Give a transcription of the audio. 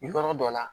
Yɔrɔ dɔ la